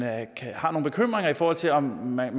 har nogle bekymringer i forhold til om man